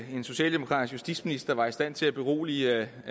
en socialdemokratisk justitsminister var i stand til at berolige